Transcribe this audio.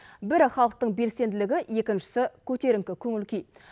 бірі халықтың белсенділігі екіншісі көтеріңкі көңіл күй